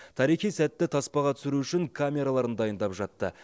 тарихи сәтті таспаға түсіру үшін камераларын дайындап жатты